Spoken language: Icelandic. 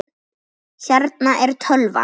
Hérna er tölvan.